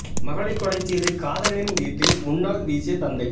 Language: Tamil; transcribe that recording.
மகளைக் கொலை செய்து காதலனின் வீட்டின் முன்னால் வீசிய தந்தை